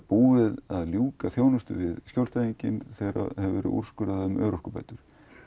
búið að ljúka þjónustu við skjólstæðinginn þegar það hefur verið úrskurðað með örorkubætur